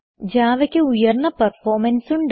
Javaക്ക് ഉയർന്ന പെർഫോർമൻസ് ഉണ്ട്